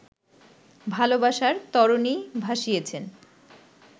ভালোবাসার তরণি ভাসিয়েছেন